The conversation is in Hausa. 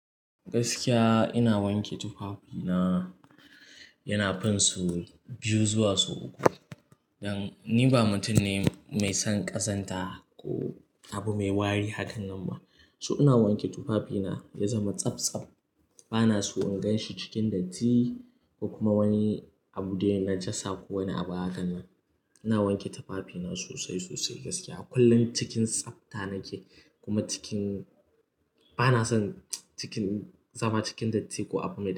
Gaskiya ina wanke tufafina, yana fin sau biyu zuwa sau uku. Dan ni ba mutum ne mai son ƙazanta ko abu mai wari hakan nan ba. Su ina wanke tufafina ya zama tsabtsab, bana so in gan shi cikin datti ko kuma wani abu dai na najasa ko wani abu hakan nan. Ina wanke tufafina sosai sosai gaskiya, kullum cikin tsafta nake kuma cikin-- bana son cikin zama cikin datti ko abu mai dauda.